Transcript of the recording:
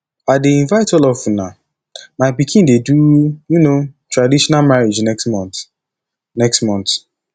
i dey invite all of una my pikin dey do um traditional marriage next month next month